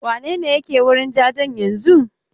Wane ne yake wurin jajen yanzun?